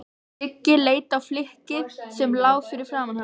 Siggi leit á flykkið sem lá fyrir framan hann.